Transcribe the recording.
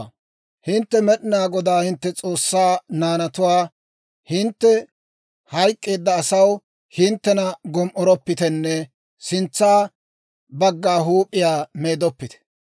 «Hintte Med'inaa Godaa hintte S'oossaa naanatuwaa; hintte hayk'k'eedda asaw hinttena gom"oroppitenne sintsa bagga huup'iyaa meedoppite.